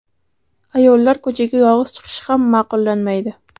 Ayollar ko‘chaga yolg‘iz chiqishi ham ma’qullanmaydi.